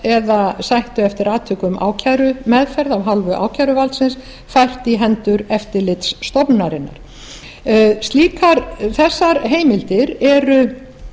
eða sættu eftir atvikum ákærumeðferð af hálfu ákæruvaldsins fært í hendur eftirlitsstofnunarinnar þessar heimildir eru